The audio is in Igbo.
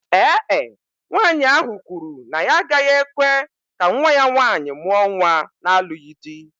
Ee e, nwanyị ahụ kwuru na ya agaghị ekwe ka nwa ya nwaanyị mụọ nwa na-alụghị di